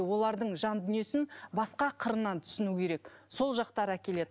олардың жан дүниесін басқа қырынан түсіну керек сол жақтар әкеледі